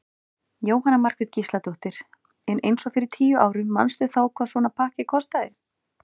Jóhanna Margrét Gísladóttir: En eins og fyrir tíu árum manstu þá hvað svona pakki kostaði?